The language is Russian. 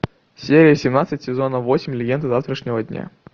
серия семнадцать сезона восемь легенды завтрашнего дня